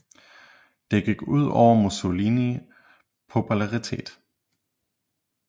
Det gik ud over Mussolini popularitet